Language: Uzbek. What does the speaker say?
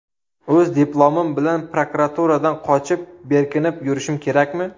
O‘z diplomim bilan prokuraturadan qochib, berkinib yurishim kerakmi?